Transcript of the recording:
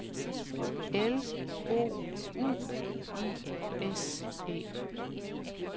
L O U I S E